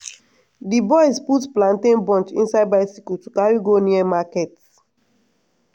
d boys dey put plantain bunch inside bicycle to carry go near market.